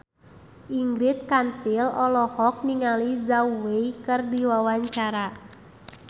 Ingrid Kansil olohok ningali Zhao Wei keur diwawancara